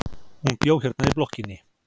Hún bjó hérna í blokkinni.